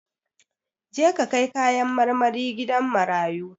Je ka kai kayan marmari gidan marayu!